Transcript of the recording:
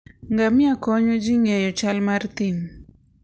Ngamia konyo ji ng'eyo chal mar thim.